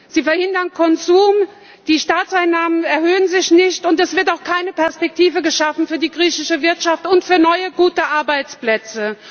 Opfer. Sie verhindern Konsum, die Staatseinnahmen erhöhen sich nicht, und es wird auch keine Perspektive geschaffen für die griechische Wirtschaft und für neue, gute Arbeitsplätze.